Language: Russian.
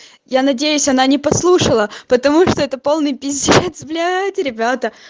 я надеюсь она не послушала потому что это полный пиздец блять ребята